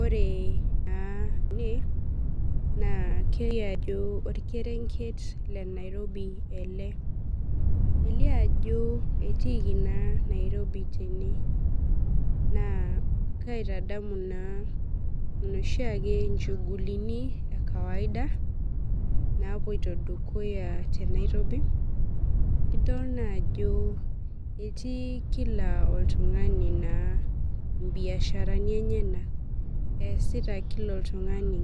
Ore na ene nakelio ajo orkerenket le nairobi ele elio ajo etiiki na nairobi tene na kaitadamu noshi nchugulini ekawaida napoito dukuya tenairobi idol naa ajo etii kila oltungani nchegulini enyenak easita kila oltungani